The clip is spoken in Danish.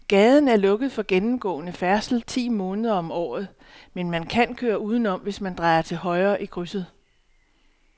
Gaden er lukket for gennemgående færdsel ti måneder om året, men man kan køre udenom, hvis man drejer til højre i krydset.